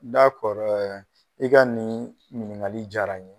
i ka niin ɲiniŋali diyara n ye.